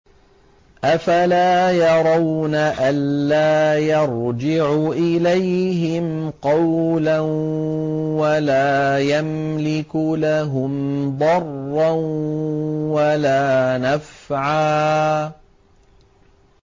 أَفَلَا يَرَوْنَ أَلَّا يَرْجِعُ إِلَيْهِمْ قَوْلًا وَلَا يَمْلِكُ لَهُمْ ضَرًّا وَلَا نَفْعًا